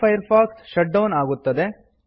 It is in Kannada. ಮೊಝಿಲ್ಲ ಫೈರ್ಫಾಕ್ಸ್ ಶಟ್ ಡೌನ್ ಆಗುತ್ತದೆ